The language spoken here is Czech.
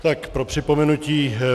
Tak pro připomenutí.